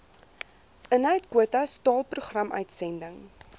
inhoudkwotas taal programuitsending